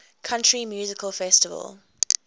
country music festival